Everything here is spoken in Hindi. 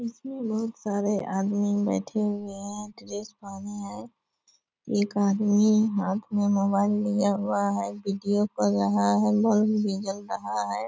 इस मे बहुत सारे आदमी बैठे हुए हैं | ड्रेस पहने हैं | एक आदमी हाथ मे मोबाइल लिया हुआ है | वीडियो कर रहा है बल्ब भी जल रहा है |